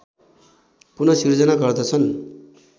पुन सिर्जना गर्दछन्